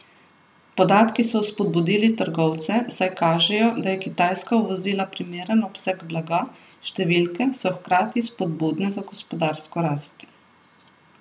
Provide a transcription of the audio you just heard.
Podatki so spodbudili trgovce, saj kažejo, da je Kitajska uvozila primeren obseg blaga, številke so hkrati spodbudne za gospodarsko rast.